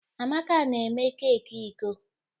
Amaka na-eme keeki iko.